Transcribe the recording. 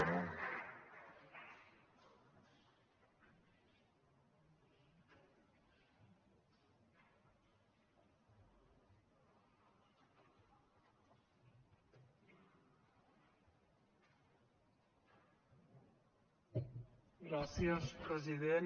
gràcies president